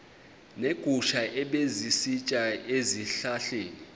neegusha ebezisitya ezihlahleni